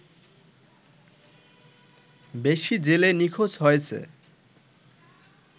বেশি জেলে নিখোঁজ হয়েছে